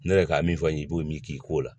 Ne yɛrɛ ka min fɔ n ye i b'o min k'i ko la